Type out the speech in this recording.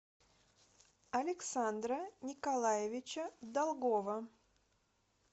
александра николаевича долгова